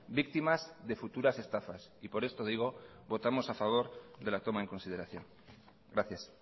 víctimas de futuras estafas y por esto digo votamos a favor de la toma en consideración gracias